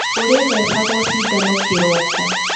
Ũrĩthecagwo cindano kĩroko.